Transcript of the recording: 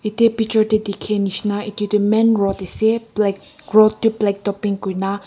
ete pichor teh dikhia nishina etu tu main road ase black road tu black tu pink koi na.